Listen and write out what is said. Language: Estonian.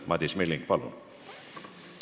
Madis Milling, palun!